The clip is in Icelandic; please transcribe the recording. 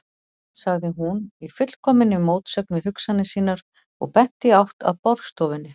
sagði hún, í fullkominni mótsögn við hugsanir sínar og benti í átt að borðstofunni.